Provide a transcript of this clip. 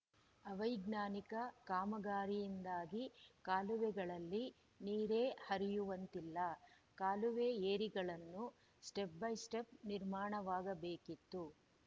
ಅವೈಜ್ಞಾನಿಕ ಕಾಮಗಾರಿಯಿಂದಾಗಿ ಕಾಲುವೆಗಳಲ್ಲಿ ನೀರೇ ಹರಿಯುವಂತಿಲ್ಲ ಕಾಲುವೆ ಏರಿಗಳನ್ನು ಸ್ಟೆಪ್‌ ಬೈ ಸ್ಟೆಪ್‌ ನಿರ್ಮಾಣವಾಗಬೇಕಿತ್ತು